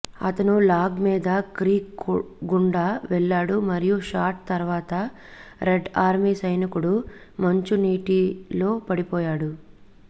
అతను లాగ్ మీద క్రీక్ గుండా వెళ్లాడు మరియు షాట్ తర్వాత రెడ్ ఆర్మీ సైనికుడు మంచు నీటిలో పడిపోయాడు